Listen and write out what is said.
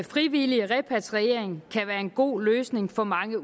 frivillig repatriering kan være en god løsning for mange